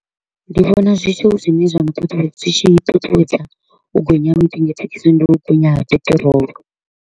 Ndi vhona zwithu zwine zwa nṱuṱuwedza zwi tshi ṱuṱuwedza u gonya ha mitengo ya thekhisi ndi u gonya ha peṱirolo.